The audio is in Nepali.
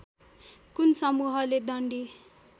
कुन समूहले डन्डी